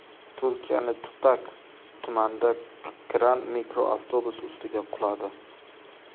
Turkiyaning Tutak tumanida kran mikroavtobus ustiga quladi.